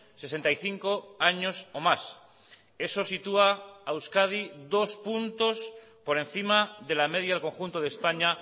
sesenta y cinco años o más eso sitúa a euskadi dos puntos por encima de la media del conjunto de españa